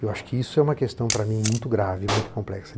Eu acho que isso é uma questão, para mim, muito grave, muito complexa.